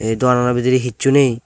ye doganano bidire hissu nei.